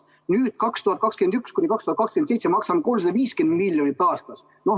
Nüüd, 2021–2027 maksame 350 miljonit aastas.